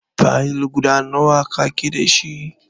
Fayil guda nawa ka ke dashi?